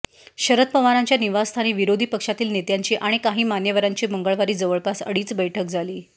शरद पवारांच्या निवासस्थानी विरोधी पक्षातील नेत्यांची आणि काही मान्यवरांची मंगळवारी जवळपास अडीच बैठक झाली